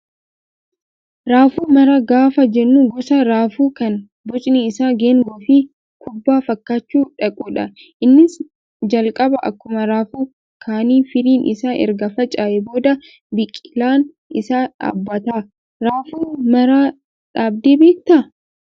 Raafuu maraa gaafa jennu gosa raafuu kan bocni isaa geengoo fi kubbaa fakkaachuu dhaqudha. Innis calqaba akkuma raafuu kaanii firiin isaa erga faca'ee booddee biqilaan isaa dhaabbata. Raafuu maraa dhaabdee beektaa?